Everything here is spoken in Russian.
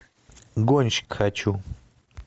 гонщик хочу